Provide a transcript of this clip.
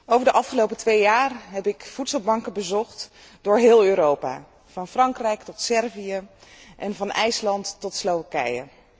Over de afgelopen twee jaar heb ik voedselbanken bezocht door heel Europa, van Frankrijk tot Servië en van IJsland tot Slowakije.